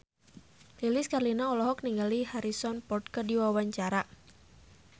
Lilis Karlina olohok ningali Harrison Ford keur diwawancara